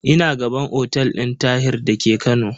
Ina gaban otel din Tahir da ke Kano.